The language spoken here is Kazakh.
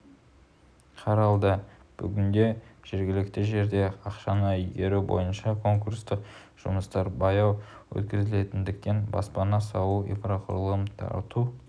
қаралды бүгінде жергілікті жерде ақшаны игеру бойынша конкурстық жұмыстар баяу өткізілетіндіктен баспана салу инфрақұрылым тарту